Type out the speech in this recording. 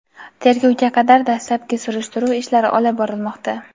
tergovga qadar dastlabki surishtiruv ishlari olib borilmoqda.